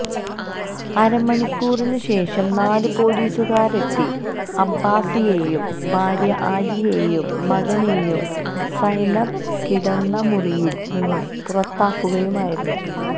അരമണിക്കൂറിന് ശേഷം നാല് പൊലീസുകാരെത്തി അബ്ബാസിയേയും ഭാര്യ ആലിയയേും മകനേയും സൈനബ് കിടന്ന മുറിയിൽ നിന്നും പുറത്താക്കുക ആയിരുന്നു